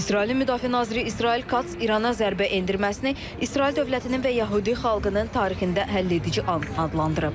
İsrailin müdafiə naziri İsrail Katz İrana zərbə endirməsini İsrail dövlətinin və yəhudi xalqının tarixində həlledici an adlandırıb.